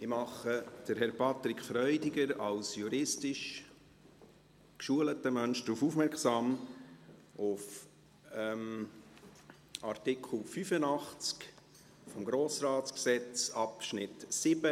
Ich mache Herrn Patrick Freudiger als juristisch geschulten Menschen auf Artikel 85 Absatz 7 des Grossratsgesetzes (GRG) aufmerksam: